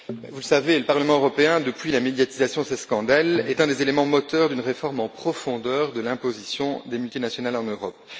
Vous le savez, le Parlement européen, depuis la médiatisation de ces scandales, est un des éléments moteurs d'une réforme en profondeur de l'imposition des multinationales en Europe.